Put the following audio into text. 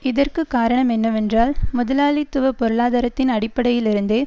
இதற்கு காரணம் என்னவென்றால் முதலாளித்துவ பொருளாதாரத்தின் அடிப்படையிலிருந்தே